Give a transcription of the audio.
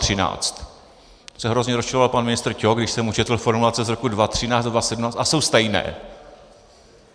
To se hrozně rozčiloval pan ministr Ťok, když jsem mu četl formulace z roku 2013 a 2017, a jsou stejné.